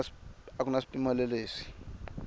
a ku na swipimelo leswi